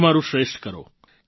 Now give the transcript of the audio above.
તમારું શ્રેષ્ઠ કરો